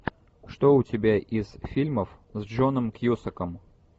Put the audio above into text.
что у тебя из фильмов с джоном кьюсаком